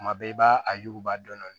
Kuma bɛɛ i b'a a yuguba dɔɔnin